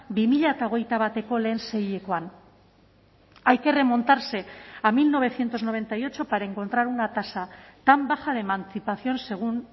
bi mila hogeita bateko lehen seihilekoan hay que remontarse a mil novecientos noventa y ocho para encontrar una tasa tan baja de emancipación según